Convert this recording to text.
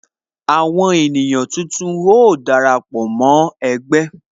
Àwọn ènìyàn tuntun ó dara pọ mó ẹgbẹ́